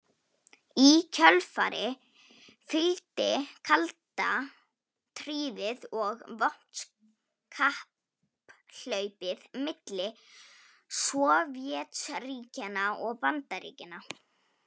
Í kjölfarið fylgdi kalda stríðið og vopnakapphlaupið milli Sovétríkjanna og Bandaríkjanna.